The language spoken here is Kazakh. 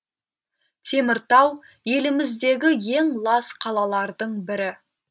теміртау еліміздегі ең лас қалалардың бірі